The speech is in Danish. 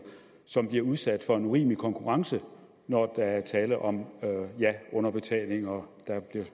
som bliver udsat for en urimelig konkurrence når der er tale om underbetaling og når der